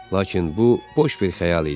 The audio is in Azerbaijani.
Lakin bu boş bir xəyal idi.